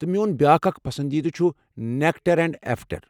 تہٕ میون بیٚاکھ اکھ پسندیدٕ چھُ نیٚکڑ اینٛڑ ایٚفریڑ۔